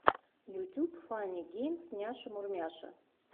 ютюб фанни геймс няша мурмяша